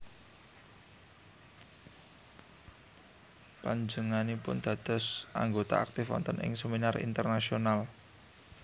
Panjenganipun dados anggota aktif wonten ing seminar internasional